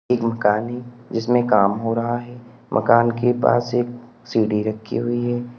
एक मकान है जिसमें काम हो रहा है। मकान के पास एक सीढ़ी रखी हुई है।